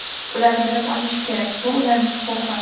Ular bilim olishi kerak, bu ularning huquqi.